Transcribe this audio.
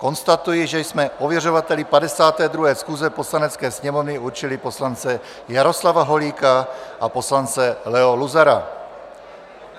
Konstatuji, že jsme ověřovateli 52. schůze Poslanecké sněmovny určili poslance Jaroslava Holíka a poslance Leo Luzara.